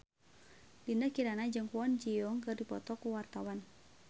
Dinda Kirana jeung Kwon Ji Yong keur dipoto ku wartawan